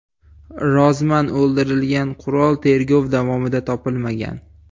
Rozman o‘ldirilgan qurol tergov davomida topilmagan.